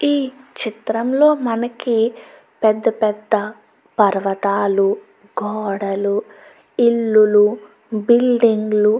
ఈ చిత్రం లో మనకి పెద్ద పెద్ద పర్వతాలు గోడలు ఇల్లులు బిల్డింగ్ లు --